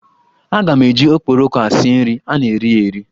Aga m eji okporoko a sie nri, a na eri ya eri.